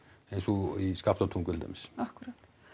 eins og í Skaftártungu til dæmis akkúrat